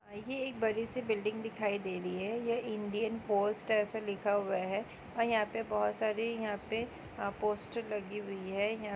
बड़ी सी बिल्डिंग दिखाई दे रही है। ये इंडियन पोस्ट ऐसे लिखा हुआ है और यहाँ बहोत सारि पोस्टर लगी हुई है। यहा --